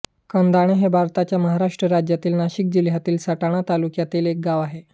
कंधाणे हे भारताच्या महाराष्ट्र राज्यातील नाशिक जिल्ह्यातील सटाणा तालुक्यातील एक गाव आहे